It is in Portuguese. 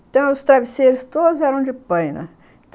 Então, os travesseiros todos eram de paina.